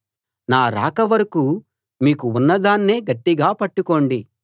నా రాక వరకూ మీకు ఉన్నదాన్నే గట్టిగా పట్టుకోండి